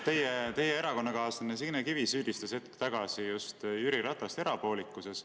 Teie erakonnakaaslane Signe Kivi süüdistas hetk tagasi Jüri Ratast erapoolikuses.